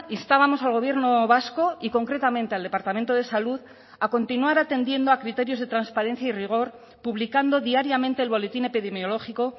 instábamos al gobierno vasco y concretamente al departamento de salud a continuar atendiendo a criterios de transparencia y rigor publicando diariamente el boletín epidemiológico